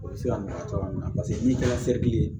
O bɛ se ka nɔgɔya cogoya min na paseke n'i kɛra serili ye